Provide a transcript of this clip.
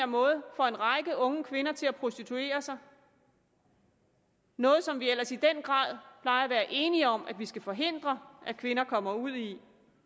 måde får en række unge kvinder til at prostituere sig noget som vi ellers i den grad plejer at være enige om at vi skal forhindre at kvinder kommer ud i